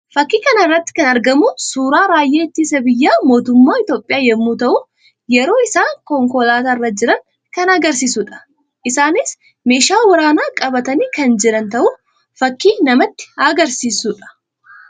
Fakkii kana irratti kan argamu suuraa raayyaa ittisa biyyaa mootummaa Itoophiyaa yammuu ta'u; yeroo isaan konkolaataa irra jiran kan agarsiisuu dha. Isaannis meeshaa waraanaa qabatanii kan jiran ta'uu fakkii namatti agarsiisuu dha.